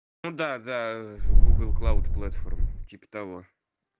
ну да да гугл клауд платформ типа того